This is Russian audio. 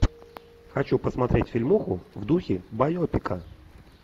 хочу посмотреть фильмуху в духе байопика